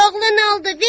Bir oğlun oldu,